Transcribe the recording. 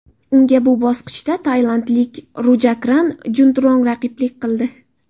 Unga bu bosqichda tailandlik Rujakran Juntrong raqiblik qildi.